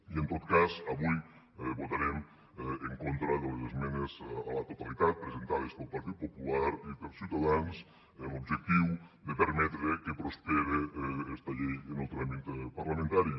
i en tot cas avui votarem en contra de les esmenes a la totalitat presentades pel partit popular i per ciutadans amb l’objectiu de permetre que prospere esta llei en el tràmit parlamentari